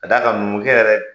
K'a d'a kan munukɛ yɛrɛ